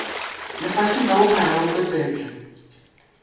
lefaseng ka bophara le bopepetla